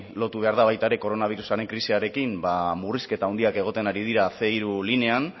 lotu behar da baita ere koronarioaren krisiarekin murrizketa handiak egoten ari dira ehun hiru linean